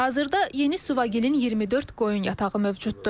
Hazırda Yeni Suvagilin 24 qoyun yatağı mövcuddur.